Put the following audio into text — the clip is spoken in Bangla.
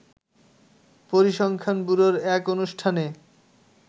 পরিসংখ্যান ব্যুরোর এক অনুষ্ঠানে